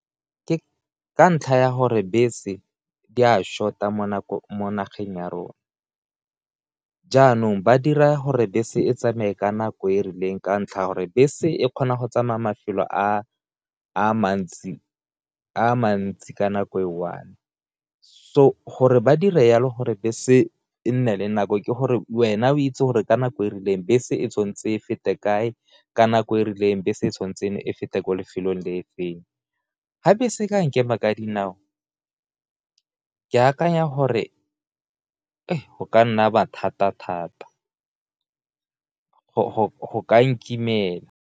Ka ntlha ya gore bese di a short-a mo nageng ya rona, jaanong ba dira gore bese e tsamaye ka nako e rileng ka ntlha ya gore bese e kgona go tsamaya mafelo a mantsi ka nako e one, so gore ba dira yalo gore bese e nne le nako ke gore wena o itse gore ka nako e rileng bese e tshwantse e fete kae ka nako e rileng bese e tshwantse e feta kwa lefelong, le e feng, ga bese ka nkema ka dinao ke akanya gore go ka nna bothata thata go ka nkimela.